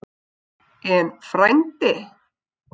En frændi?